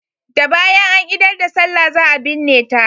Da bayan an idar da sallah za a binne ta.